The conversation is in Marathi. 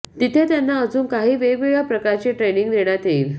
तिथे त्यांना अजून काही वेगळ्या प्रकारची ट्रेनिंग देण्यात येईल